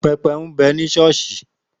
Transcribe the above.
Pẹpẹ ń bẹ ní Sọ́ọ́sì.